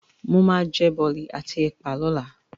Màá jẹ bọ̀lì àti ẹ̀pà lọ́la.